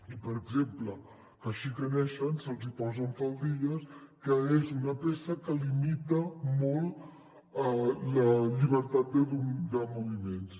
i per exemple que així que neixen se’ls posen faldilles que és una peça que limita molt la llibertat de moviments